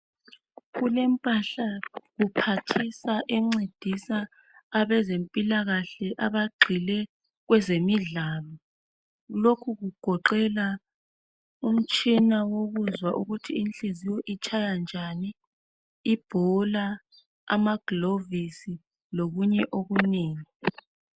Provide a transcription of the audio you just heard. Kulempahla kuphathisa encedisa abezempilakahle abagxile kwezemidlalo lokhu kugoqela umtshina wokuzwa ukuthi inhliziyo itshaya njani ibhola amagilovisi lokunye okunengi.